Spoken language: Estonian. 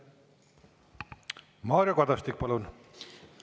Mario Kadastik, palun!